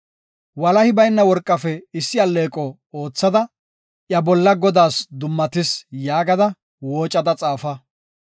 Walahi bayna worqafe issi alleeqo oothada, iya bolla ‘Godaas Dummatis’ yaagada woocada xaafa.